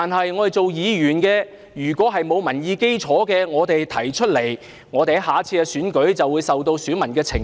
如果議員提出的意見沒有民意基礎，在下次選舉就會受到選民的懲罰。